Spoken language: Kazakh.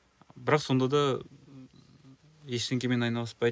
бірақ сонда да ештеңемен айналыспайды